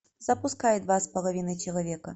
запускай два с половиной человека